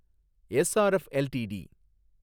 SRF LTD